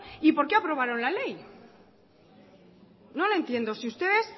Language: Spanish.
y por qué aprobaron la ley no lo entiendo si ustedes